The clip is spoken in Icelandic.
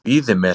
Víðimel